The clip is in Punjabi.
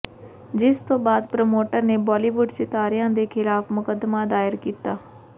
ਜਿਸ ਤੋਂ ਬਾਅਦ ਪ੍ਰਮੋਟਰ ਨੇ ਬਾਲੀਵੁੱਡ ਸਿਤਾਰਿਆਂ ਦੇ ਖਿਲਾਫ ਮੁਕਦਮਾ ਦਾਇਰ ਕੀਤਾ ਹੈ